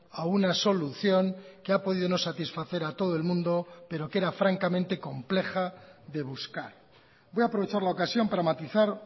a una solución que ha podido no satisfacer a todo el mundo pero que era francamente compleja de buscar voy a aprovechar la ocasión para matizar